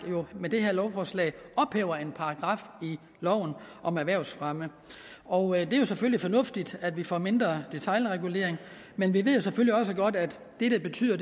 med det her lovforslag ophæver en paragraf i loven om erhvervsfremme og det er jo selvfølgelig fornuftigt at vi får mindre detailregulering men vi ved jo selvfølgelig også godt at det betyder